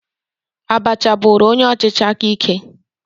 Abacha bụrụ onye ọchịchị aka ike.